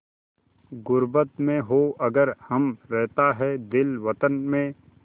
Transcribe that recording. ग़ुर्बत में हों अगर हम रहता है दिल वतन में